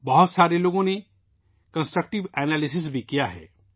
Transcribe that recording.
بہت سے لوگوں نے تعمیری تجزیہ بھی کیا ہے